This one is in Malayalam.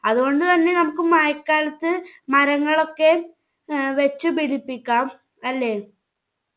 അതുകൊണ്ട് തന്നെ നമ്മുക്ക് മഴക്കാലത്ത് മരങ്ങളൊക്കേം ഏർ വെച്ചു പിടിപ്പിക്കാം അല്ലെ?